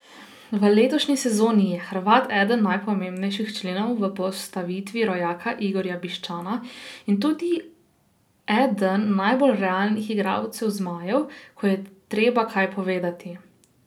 V letošnji sezoni je Hrvat eden najpomembnejših členov v postavitvi rojaka Igorja Biščana in tudi eden najbolj realnih igralcev zmajev, ko je treba kaj povedati.